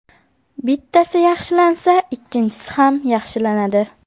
Bittasi yaxshilansa, ikkinchisi ham yaxshilanadi.